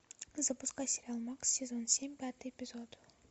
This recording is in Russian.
запускай сериал макс сезон семь пятый эпизод